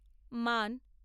man